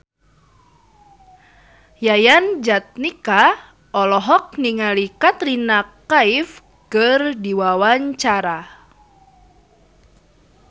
Yayan Jatnika olohok ningali Katrina Kaif keur diwawancara